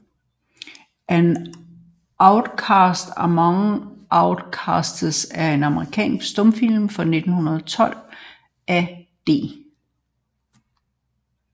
An Outcast Among Outcasts er en amerikansk stumfilm fra 1912 af D